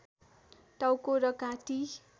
टाउको र घाँटी